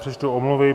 Přečtu omluvy.